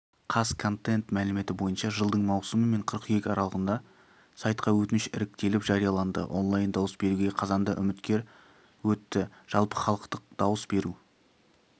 қазконтент мәліметі бойынша жылдың маусымы мен қыркүйек аралығында сайтқа өтініш іріктеліп жарияланды онлайн дауыс беруге қазанда үміткер өтті жалпыхалықтық дауыс беру